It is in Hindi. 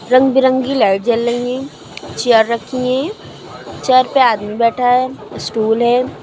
रंग बिरंगी लाइट जल रही चेयर रखी हैं चेयर पर आदमी बैठा है स्टूल है।